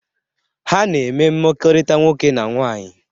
Ha na-eme mmekọrịta nwoke na nwaanyị.